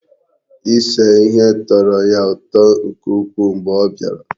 Ise ihe tọrọ ya ụtọ nke ukwuu mgbe ọ bịara.